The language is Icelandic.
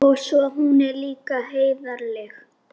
Og svo er hún líka heiðarleg.